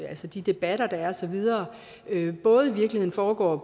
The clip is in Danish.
altså de debatter der er og så videre både foregår